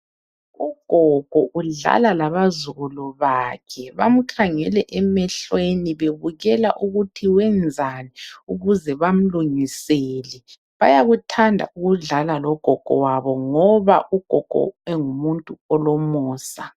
Ugogo udlala labazukulu bakhe. Bamkhangele emehlweni bebukela ukuthi wenzani ukuze bamlungisele. Bayakuthanda ukudlala logogo wabo ngoba ugogo engumuntu olomusa.